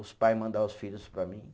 Os pai mandar os filhos para mim.